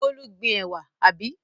Bólú gbin ẹ̀wà, àbí?